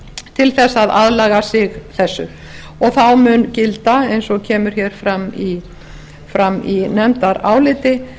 til þess að aðlaga sig þessu og þá mun gilda eins og kemur hér fram í nefndaráliti